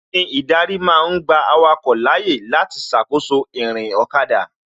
Irin ìdarí ma ń gba awake láyé láti ṣàkóso ìrìn ọ̀kada